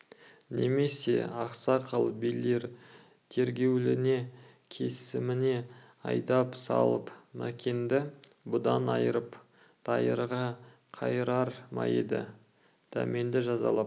немесе ақсақал билер тергеуіне кесіміне айдап салып мәкенді бұдан айырып дайырға қайырар ма еді дәрменді жазалап